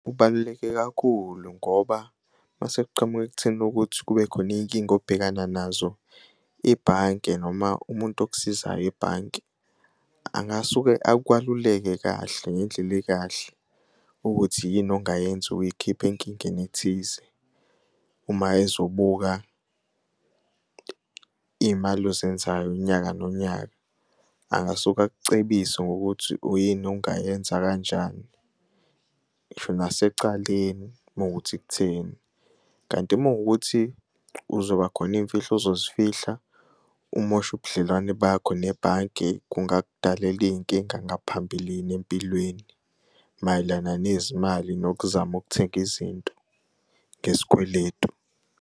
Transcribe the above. Kubaluleke kakhulu ngoba mase kuqhamuka ekutheni ukuthi kube khona iy'nkinga obhekana nazo, ibanke noma umuntu okusizayo ebhanki angasuke akwaluleke kahle ngendlela ekahle ukuthi yini ongayenza ukuy'khipha enkingeni ethize uma ezobuka iy'mali ozenzayo unyaka nonyaka. Angasuke akucebise ngokuthi uyini ongayenza kanjani. Ngisho nasecaleni uma kuwukuthi kutheni, kanti uma kuwukuthi kuzoba khona iyimfihlo ozozifihla umoshe ubudlelwane bakho nebhange kungakudalela iy'nkinga ngaphambilini empilweni mayelana nezimali nokuzama ukuthenga izinto ngezikweletu.